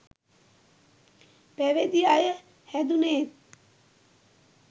පැවිදි අය හැදුනේත්